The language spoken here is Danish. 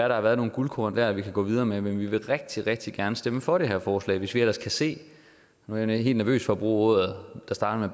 der har været nogle guldkorn dér vi kan gå videre med men vi vil rigtig rigtig gerne stemme for det her forslag hvis vi ellers kan se og nu er jeg helt nervøs for at bruge ordet der starter